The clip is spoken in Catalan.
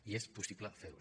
i és possible fer ho